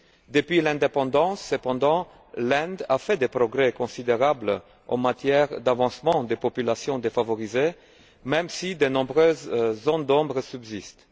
Depuis l'indépendance, cependant, l'Inde a fait des progrès considérables en matière d'avancement des populations défavorisées, même si de nombreuses zones d'ombre subsistent.